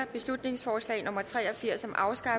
beslutningsforslag nummer b tre og firs